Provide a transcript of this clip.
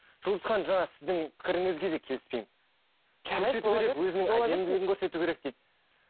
жұлдыз ханым жаңа сіздің пікіріңізге де келіспеймін